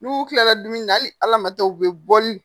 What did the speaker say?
N'u kilara dumuni na hali ala ma taa u bɛ bɔ ni